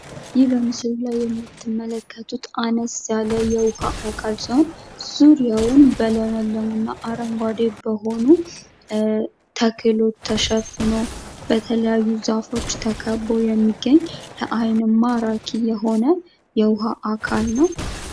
ይህ በምስሉ ላይ የምትመለከቱት አነስ የውሃ አካል ሲሆን፤ ዙሪያውን በለመለሙ እና አረንጋዴ በሆኑ ተክሎች ተሸፍኖ በተለያዩ ዛፎች ተከቦ የሚገኝ ለአይን ማራኪ የሆነ የውሃ አካል ነው ።